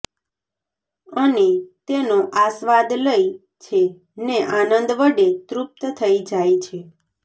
અને તેનો આસ્વાદ લઈ છે ને આનંદ વડે તૃપ્ત થઇ જાય છે